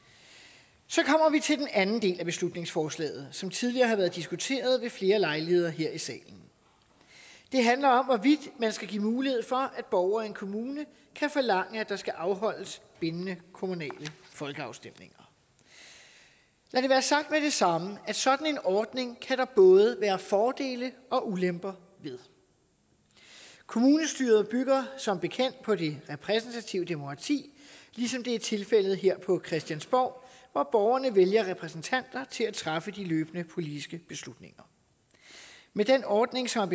så kommer til den anden del af beslutningsforslaget som tidligere har været diskuteret ved flere lejligheder her i salen det handler om hvorvidt man skal give mulighed for at borgere i en kommune kan forlange at der skal afholdes bindende kommunale folkeafstemninger lad det være sagt med det samme sådan en ordning kan der både være fordele og ulemper ved kommunestyret bygger som bekendt på det repræsentative demokrati ligesom det er tilfældet her på christiansborg hvor borgerne vælger repræsentanter til at træffe de løbende politiske beslutninger med den ordning som